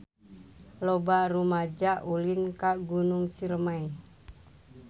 Loba rumaja ulin ka Gunung Ciremay